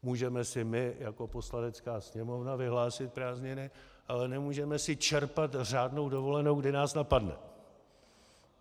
Můžeme si my jako Poslanecká sněmovna vyhlásit prázdniny, ale nemůžeme si čerpat řádnou dovolenou, kdy nás napadne.